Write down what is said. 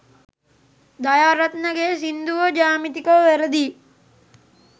දයාරත්න ගේ සින්දුව ජ්‍යාමිතිකව වැරදියි.